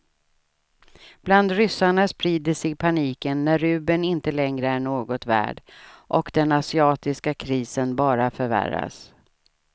Bland ryssarna sprider sig paniken när rubeln inte längre är något värd och den asiatiska krisen bara förvärras.